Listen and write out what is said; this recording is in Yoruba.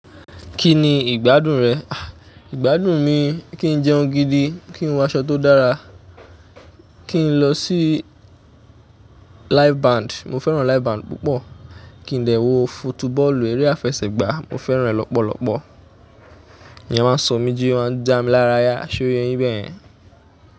Kí ni ìgbádùn rẹ? Àh ìgbádùn mi, kí n jẹun gidi, kí n wọ aṣọ tó dára, kí n lọ sí live band. Mo fẹ́ràn live band púpọ̀, kí n lè wo fotubọ́ọ̀lù eré àfẹsẹ̀gbá. Mo fẹ́ràn ẹ̀ lọ́pọ̀lọ́pọ̀. Ìyen máa ń sọ mí jí, máa ń dá mí lára yá, ṣoye yín bẹ́ẹ̀ yẹn.